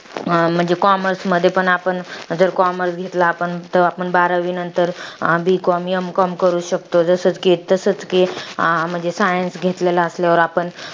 तर मी शेतकऱ्यांना एकच सांगू इच्छिते